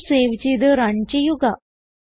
file save ചെയ്ത് run ചെയ്യുക